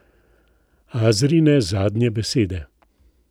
Azrine zadnje besede.